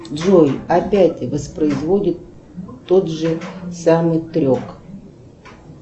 джой опять воспроизводит тот же самый трек